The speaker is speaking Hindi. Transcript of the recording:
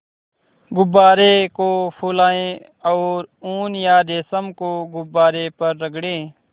गुब्बारे को फुलाएँ और ऊन या रेशम को गुब्बारे पर रगड़ें